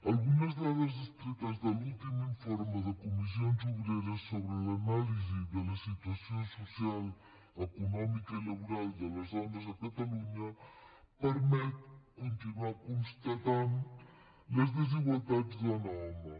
algunes dades extretes de l’últim informe de comissions obreres sobre l’anàlisi de la situació social econòmica i laboral de les dones a catalunya permeten continuar constatant les desigualtats dona home